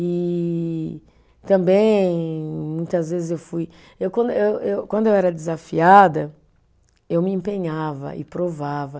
E também, muitas vezes eu fui, eu quando, eu eu, quando eu era desafiada, eu me empenhava e provava.